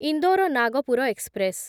Indore Nagpur express